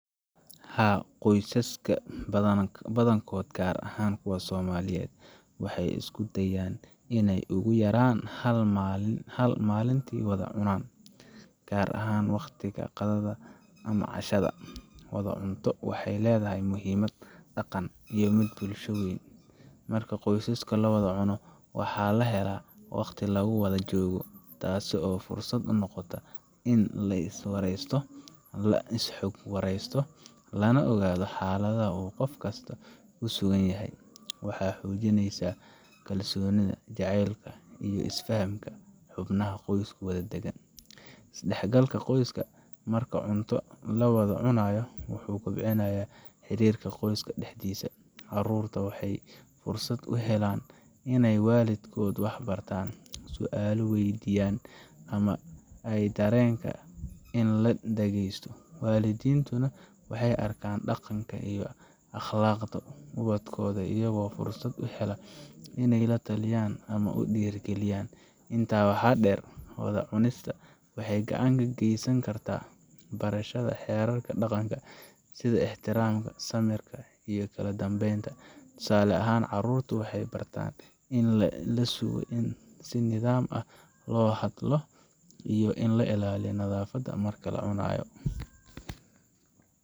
Haa, qoysaska badankood, gaar ahaan kuwa Soomaaliyeed, waxay isku dayaan inay ugu yaraan hal mar maalintii wada cunaan, gaar ahaan waqtiga qadada ama cashada. Wada cunto waxay leedahay muhiimad dhaqan iyo mid bulsho oo weyn. Marka qoys la wada cuno, waxaa la helaa waqti lagu wada joogo, taasoo fursad u noqota in la is waraysto, la is xog wareysto, lana ogaado xaaladaha uu qof kasta ku sugan yahay. Waxay xoojinaysaa kalsoonida, jacaylka, iyo is fahamka xubnaha qoysku wadaagaan. Is dhexgalka qoyska marka cunto la wada cunayo wuxuu kobciyaa xiriirka qoyska dhexdiisa. Carruurta waxay fursad u helaan inay waalidkood wax ka bartaan, su’aalo weydiiyaan, ama ay dareemaan in la dhagaysto. Waalidiintuna waxay arkaan dhaqanka iyo akhlaaqda ubadkooda, iyagoo fursad u hela inay la taliyaan ama u dhiiri geliyaan. Intaa waxaa dheer, wada cunista waxay gacan ka geysan kartaa barashada xeerarka dhaqanka, sida ixtiraamka, samirka, iyo kala dambeynta. Tusaale ahaan, carruurtu waxay bartaan in la sugo, in si nidaam ah loo hadlo, iyo in la ilaaliyo nadaafadda marka la cunayo.